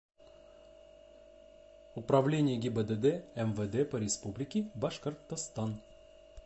управление гибдд мвд по республике башкортостан